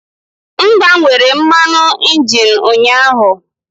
M gbanwere mmanụ injin ụnyaahụ.